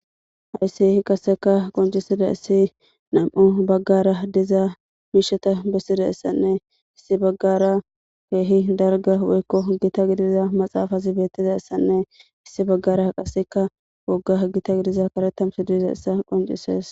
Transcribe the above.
Hayssi qaseka qoncisida issi nam7u baggara diza miisheta bessida issanne issi baggara keehi dalga woykko gita gidiza maxaafazi beettiza issanne issi baggara qaseka wogga gita gidiza karetamsi duiza issa qoncises.